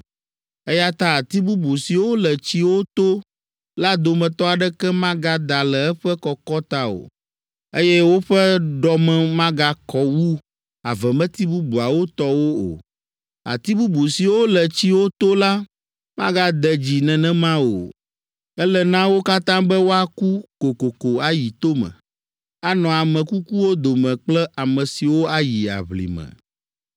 Eya ta ati bubu siwo le tsiwo to la dometɔ aɖeke magada le eƒe kɔkɔ ta o, eye woƒe ɖɔme magakɔ wu avemeti bubuawo tɔwo o. Ati bubu siwo le tsiwo to la magade dzi nenema o. Ele na wo katã be woaku kokoko ayi tome, anɔ ame kukuwo dome kple ame siwo ayi aʋlime.’